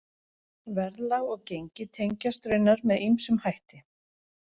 Verðlag og gengi tengjast raunar með ýmsum hætti.